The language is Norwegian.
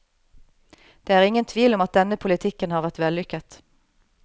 Det er ingen tvil om at denne politikken har vært vellykket.